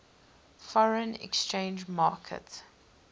foreign exchange market